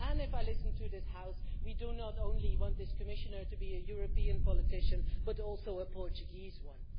If I listen to this House, we not only want this Commissioner to be a European politician but also a Portuguese one.